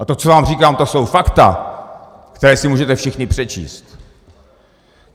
A to, co vám říkám, to jsou fakta, která si můžete všichni přečíst.